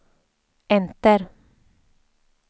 enter